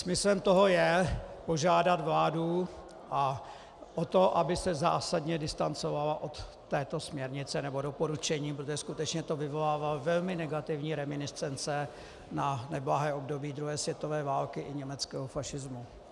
Smyslem toho je požádat vládu o to, aby se zásadně distancovala od této směrnice nebo doporučení, protože skutečně to vyvolává velmi negativní reminiscence na neblahé období druhé světové války i německého fašismu.